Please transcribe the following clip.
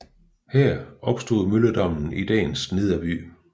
Her opstod mølledammen i dagens nederby